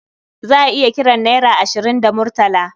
Za a iya kiran naira ashirin da murtala.